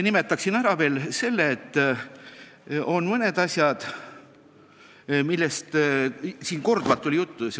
Viimasena räägiksin mõnest asjast, millest tänagi korduvalt juttu oli.